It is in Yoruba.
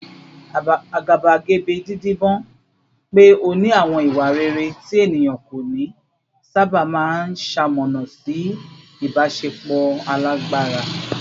Àgàbàgebè, dídibọ́n pé ó ní àwọn ìwà rere tí ènìyàn kò ní, sábà máa ń ṣamọ̀nà sí ìbáṣepọ̀ alágbára